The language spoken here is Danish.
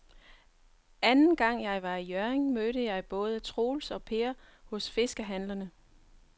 Anden gang jeg var i Hjørring, mødte jeg både Troels og Per hos fiskehandlerne.